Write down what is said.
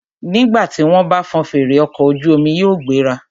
Nígbà tí wọ́n bá fọn fèrè, ọkọ̀ ojú omi yóò gbéra.